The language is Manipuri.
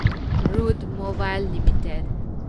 Route Mobile limited